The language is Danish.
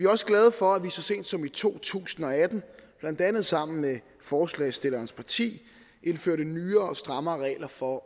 også glade for at vi så sent som i to tusind og atten blandt andet sammen med forslagsstillernes parti indførte nye og strammere regler for